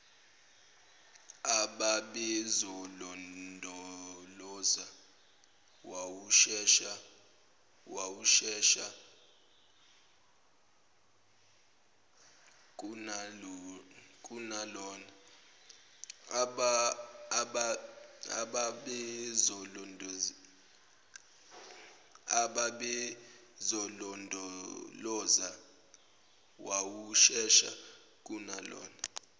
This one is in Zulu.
ababezolondoloza wawushesha kunalona